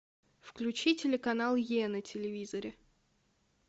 включи телеканал е на телевизоре